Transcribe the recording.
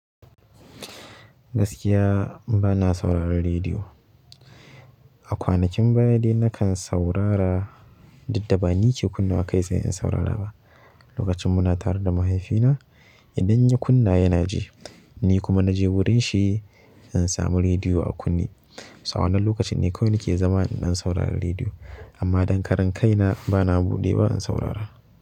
Gaskiya bana sauraron rediyo. Akwanakin baya dai nakan saurara, duk da bani ke kunnawa kai tsaye in saurara ba lokacin muna tare da mahaifina, idan ya kunna yanaji, nikuma naje wurinshi in samu rediyo a kunne to a wannan lokacin ne kawai nake zama in ɗan saurari rediyo. Amman dan karan kaina bana buɗewa in saurara.